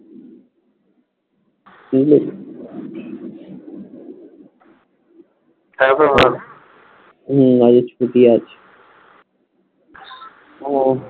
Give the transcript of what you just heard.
হম আজকে ছুটি আছে উম